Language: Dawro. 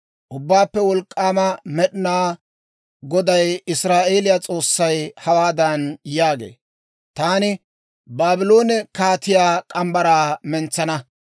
«Ubbaappe Wolk'k'aama Med'inaa Goday, Israa'eeliyaa S'oossay hawaadan yaagee; ‹Taani Baabloone kaatiyaa morgge mitsaa mentsana.